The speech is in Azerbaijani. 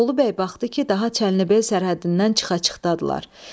Bolu bəy baxdı ki, daha çəlnib el sərhəddindən çıxa-çıxdadırlar.